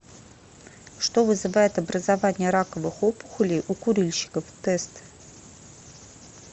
что вызывает образование раковых опухолей у курильщиков тест